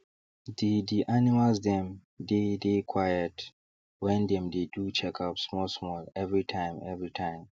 the the animals dem dey dey quiet when dem dey do checkups small small every time every time